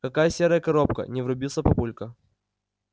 какая серая коробка не врубился папулька